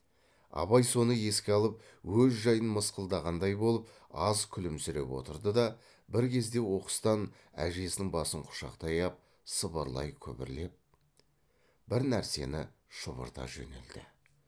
абай соны еске алып өз жайын мысқылдағандай болып аз күлімсіреп отырды да бір кезде оқыстан әжесінің басын құшақтай ап сыбырлай күбірлеп бір нәрсені шұбырта жөнелді